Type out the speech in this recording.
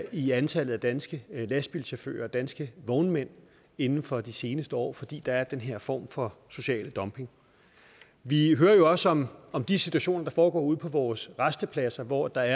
i antallet af danske lastbilchauffører og danske vognmænd inden for de seneste år fordi der er den her form for social dumping vi hører jo også om om de situationer der foregår ude på vores rastepladser hvor der